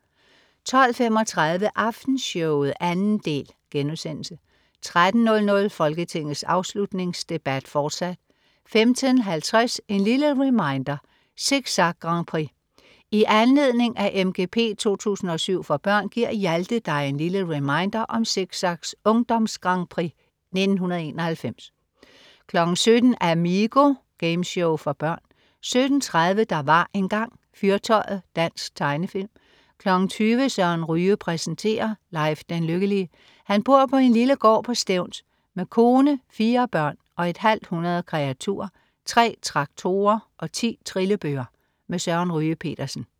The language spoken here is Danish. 12.35 Aftenshowet 2. del* 13.00 Folketingets afslutningsdebat. Fortsat 15.50 En lille reminder: Zig Zag-grandprix. I anledning af MGP 2007 for børn giver Hjalte dig en lille reminder om Zig Zag's ungdomsgrandprix 1991 17.00 Amigo. Gameshow for børn 17.30 Der var engang. Fyrtøjet. Dansk tegnefilm 20.00 Søren Ryge præsenterer. Leif den Lykkelige. Han bor på en lille gård på Stevns med kone, fire børn og et halvt hundrede kreaturer, tre traktorer og 10 trillebøre. Søren Ryge Petersen